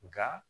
Nka